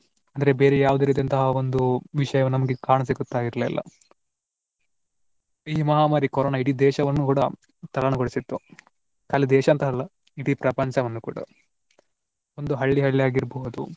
ಅಂದ್ರ ಬೇರೆ ಯಾವ ರೀತಿಯಂತಹ ವಿಷಯ ನಮ್ಗೆ ಕಾಣ ಸಿಗುತ್ತಾ ಇರಲಿಲ್ಲ. ಈ ಮಹಾಮಾರಿ ಕೊರೊನಾ ಇಡೀ ದೇಶವನ್ನು ಕೂಡಾ ತಲ್ಲಣ ಗೊಳಿಸಿತ್ತು ದೇಶ ಅಂತ ಅಲ್ಲ ಇಡೀ ಪ್ರಪಂಚವನ್ನು ಕೂಡಾ ಒಂದು ಹಳ್ಳಿ ಹಳ್ಳಿಯಾಗಿರಬಹುದು